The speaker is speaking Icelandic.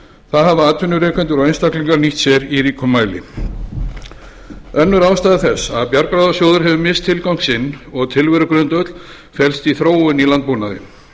það hafa atvinnurekendur og einstaklingar nýtt sér í ríkum mæli önnur ástæða þess að bjargráðasjóður hefur misst tilgang sinn og tilverugrundvöll felst í þróun í landbúnaði